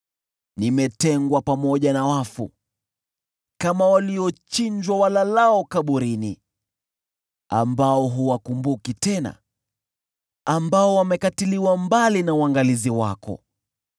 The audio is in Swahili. Nimetengwa pamoja na wafu, kama waliochinjwa walalao kaburini, ambao huwakumbuki tena, ambao wamekatiliwa mbali na uangalizi wako.